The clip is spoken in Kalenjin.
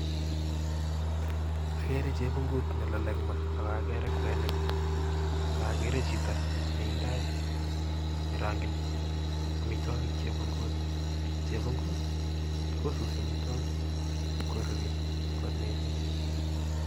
Ageere chepungut nelole en maa, ak akoree kwenik ak ageeere chito neindoii nerongyin amitwogiik chepungut. Chepungut kosusii amitwagiik koruryo mossing